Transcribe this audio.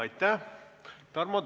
Aitäh!